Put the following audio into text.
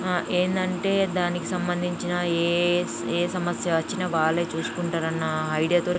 ఆ ఏందంటే దానికి సంబందించిన ఏ సమ ఏ సమస్య వచ్చిన వాలే చూసుకుంటారు అన్నా ఐడియా తో--